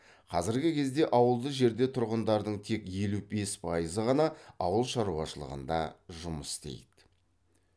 қазіргі кезде ауылды жерде тұратындардың тек елу бес пайызы ғана ауыл шаруашылығында жұмыс істейді